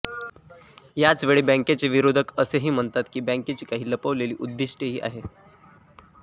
याच वेळी बँकेचे विरोधक असेही म्हणतात की बँकेची काही लपवलेली उद्दीष्टेही आहेत